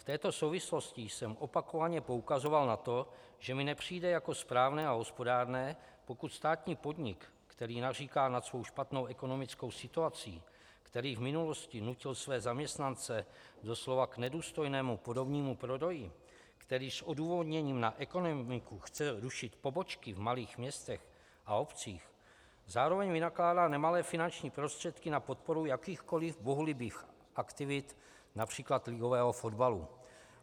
V této souvislosti jsem opakovaně poukazoval na to, že mi nepřijde jako správné a hospodárné, pokud státní podnik, který naříká nad svou špatnou ekonomickou situací, který v minulosti nutil své zaměstnance doslova k nedůstojnému podomnímu prodeji, který s odůvodněním na ekonomiku chce rušit pobočky v malých městech a obcích, zároveň vynakládá nemalé finanční prostředky na podporu jakýchkoliv bohulibých aktivit, například ligového fotbalu.